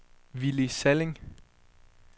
Willy Salling